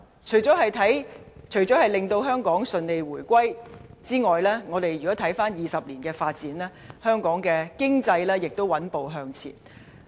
除了香港順利回歸外，回顧20年的發展，可發現香港的經濟亦穩步向前。